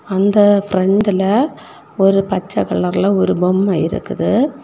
அந்த பிரெண்டுல ஒரு பச்ச கலர்ல ஒரு பொம்மை இருக்குது.